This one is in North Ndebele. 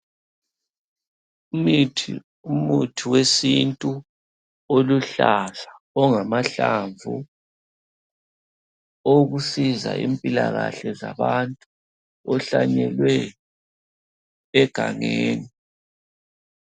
Imithi umuthi wesintu oluhlaza ongamahlamvu. Owokusiza impilakahle zabantu. Ohlanyelwe egangeni.